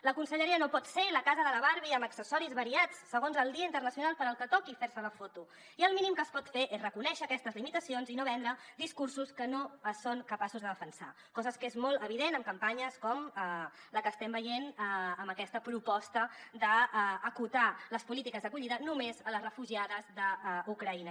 la conselleria no pot ser la casa de la barbie amb accessoris variats segons el dia internacional per al que toqui fer se la foto i el mínim que es pot fer és reconèixer aquestes limitacions i no vendre discursos que no són capaços de defensar cosa que és molt evident en campanyes com la que estem veient amb aquesta proposta d’acotar les polítiques d’acollida només a les refugiades d’ucraïna